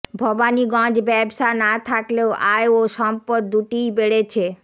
ভবানীগঞ্জ ব্যবসা না থাকলেও আয় ও সম্পদ দুটিই বেড়েছে